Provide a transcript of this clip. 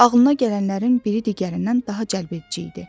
Ağlına gələnlərin biri digərindən daha cəlbedici idi.